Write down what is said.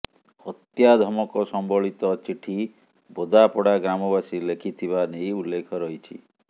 ହତ୍ୟା ଧମକ ସମ୍ବଳିତ ଚିଠି ବୋଦାପଡ଼ା ଗ୍ରାମବାସୀ ଲେଖିଥିବା ନେଇ ଉଲ୍ଲେଖ ରହିଛି